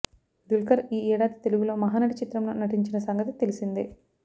దుల్కర్ ఈ ఏడాది తెలుగులో మహానటి చిత్రంలో నటించిన సంగతి తెలిసిందే